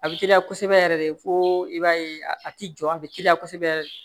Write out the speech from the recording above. A bɛ teliya kosɛbɛ yɛrɛ de fo i b'a ye a ti jɔ a bɛ teliya kosɛbɛ yɛrɛ de